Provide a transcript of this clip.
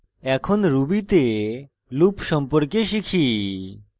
এখন ruby তে loop সম্পর্কে শিখি